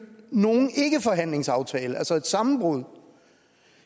nogen ikkeforhandlingsaftale altså et sammenbrud